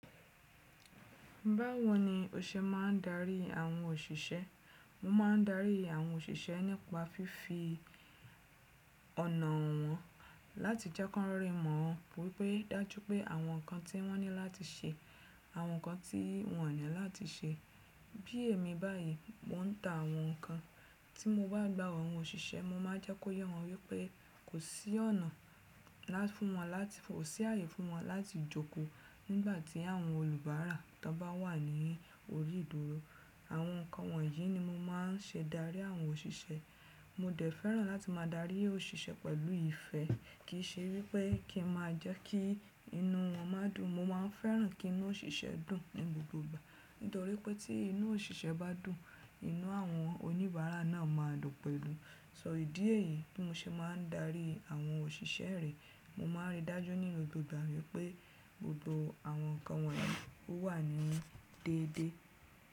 Báwo ni o ṣe máa ń darí àwọn òṣìṣẹ́? Mo máa ń darí àwọn òṣìṣẹ́ nípa fífi ọ̀nà hàn wọ́n láti jẹ́ kí wọ́n rí mọ̀ wípé dájú pé àwọn nǹkan tí wọ́n ní láti ṣe, àwọn nǹkan tí wọn ò ní láti ṣe. Bí èmi báyìí, mo ń ta àwọn nǹkan, tí mo bá gbá àwọn òṣìṣẹ́, mo máa jẹ́ kó yé wọn wípé kò sí ọ̀nà fún wọn láti, kò sí ààyè fún wọn láti jòkó nígbà tí àwọn olùbárà tó bá wà ní orí ìduró. Àwọn nǹkan wọ̀nyí ni mo máa ń ṣe darí àwọn òṣìṣẹ́. Mo dẹ̀ fẹ́ràn láti máa darí òṣìṣẹ́ pẹ̀lú ìfẹ́ kìí ṣe wípé kí n máa jẹ́ kí inú wọn má dùn. Mo máa ń fẹ́ràn kí inú òṣìṣẹ́ dùn ní gbogbo ìgbà. Nítorí pé tí inú òṣìṣẹ́ bá dùn, inú àwọn oníbàárà náà máa dùn pẹ̀lú. Sọ ìdí èyí tí mo ṣe máa ń darí àwọn òṣìṣẹ́ rẹ̀, mo máa ń rí dájú nínú gbogbo ìgbà wípé gbogbo àwọn nǹkan wọn yi wà ní déédéé.